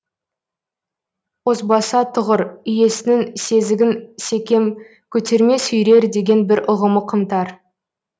озбаса тұғыр иесінің сезігін секем көтерме сүйрер деген бір ұғымы қымтар